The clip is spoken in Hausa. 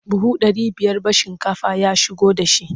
Buhu ɗari biyar ba shinkafa ya shigo da shi.